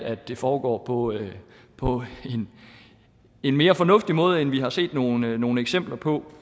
at det foregår på en på en mere fornuftig måde end vi har set nogle nogle eksempler på